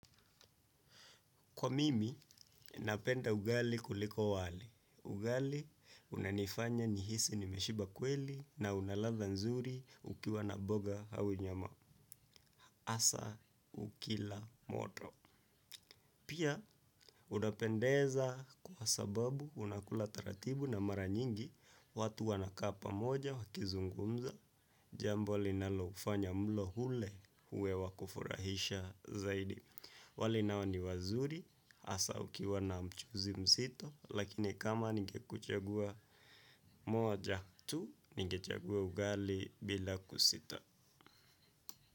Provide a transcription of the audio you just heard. Kwa mimi, napenda ugali kuliko wali. Ugali, unanifanya nihisi nimeshiba kweli na una ladha nzuri ukiwa na boga au nyama. Asa ukila moto. Pia, unapendeza kwa sababu unakula taratibu na mara nyingi watu wanakaa pamoja wakizungumza. Jambo linalofanya mlo hule uwe wa kufurahisha zaidi. Wali nao ni wazuri, hasa ukiwa na mchuzi mzito, lakini kama ningekuchagua moja tu, ningechagua ugali bila kusita.